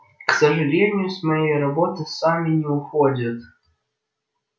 к сожалению с моей работы сами не уходят